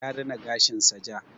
Ya rina gashin sa ja.